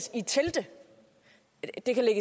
det er